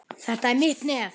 Þetta er mitt nef.